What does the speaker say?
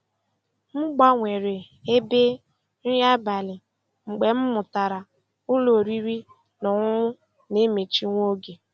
M gbanwere ebe nri abalị mgbe m mụtara ụlọ oriri na ọṅụṅụ na-emechi nwa oge.